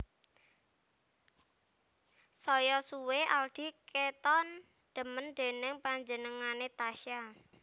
Saya suwe Aldi keton demen déning panjenengane Tasya